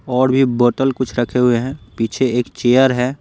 और भी बोतल कुछ रखे हुए हैं पीछे एक चेयर है।